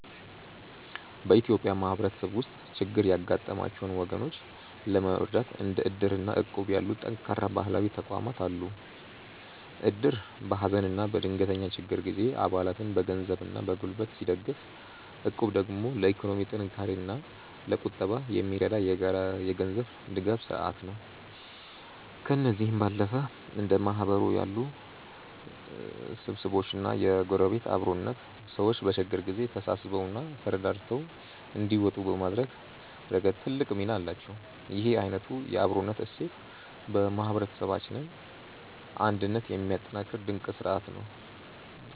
በኢትዮጵያ ማህበረሰብ ውስጥ ችግር ያጋጠማቸውን ወገኖች ለመርዳት እንደ እድር እና እቁብ ያሉ ጠንካራ ባህላዊ ተቋማት አሉ። እድር በሀዘንና በድንገተኛ ችግር ጊዜ አባላትን በገንዘብና በጉልበት ሲደግፍ፣ እቁብ ደግሞ ለኢኮኖሚ ጥንካሬና ለቁጠባ የሚረዳ የጋራ የገንዘብ ድጋፍ ስርአት ነው። ከእነዚህም ባለፈ እንደ ማህበር ያሉ ስብስቦችና የጎረቤት አብሮነት፣ ሰዎች በችግር ጊዜ ተሳስበውና ተረዳድተው እንዲወጡ በማድረግ ረገድ ትልቅ ሚና አላቸው። ይህ አይነቱ የአብሮነት እሴት የማህበረሰባችንን አንድነት የሚያጠናክር ድንቅ ስርአት ነው።